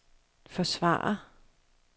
forsvare